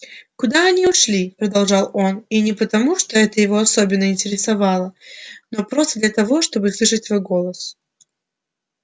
куда они ушли продолжал он и не потому что это его особенно интересовало но просто для того чтобы слышать свой голос